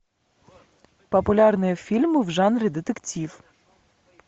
популярные фильмы в жанре детектив